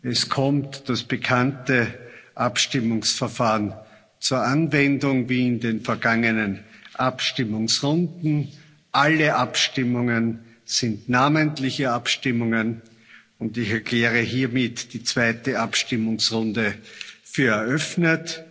Es kommt das bekannte Abstimmungsverfahren zur Anwendung wie in den vergangenen Abstimmungsrunden. Alle Abstimmungen sind namentliche Abstimmungen, und ich erkläre hiermit die zweite Abstimmungsrunde für eröffnet.